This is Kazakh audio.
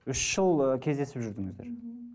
үш жыл ы кездесіп жүрдіңіздер мхм